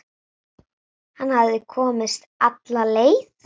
Hann hafði komist alla leið!